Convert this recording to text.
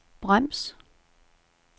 brems